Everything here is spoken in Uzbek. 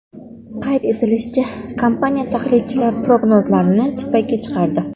Qayd etilishicha, kompaniya tahlilchilar prognozlarini chippakka chiqardi.